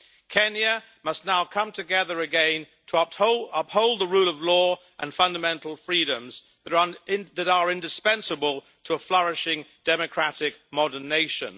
Kenya must now come together again to uphold the rule of law and fundamental freedoms that are indispensable to a flourishing, democratic modern nation.